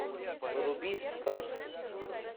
вруби сказку